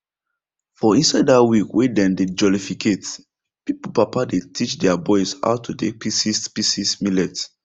for inside dat week wey dem dey jollificate pipo papa dey teach their boys how to take pieces pieces millet